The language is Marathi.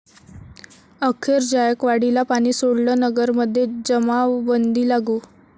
अखेर जायकवाडीला पाणी सोडलं, नगरमध्ये जमावबंदी लागू